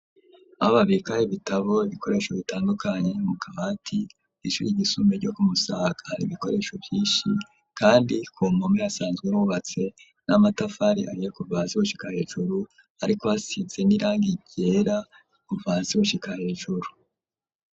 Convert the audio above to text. Ababika ibitabo ibikoresho bitandukanye mu kawa ti ishuri igisume ryo kumusaa ari ibikoresho byishi kandi ku mkume yasanzwe rubatse n'amatafari ariye kubazi hushikahejuru ariko hasize nirangi ryera kuva hasi gushika hejuru.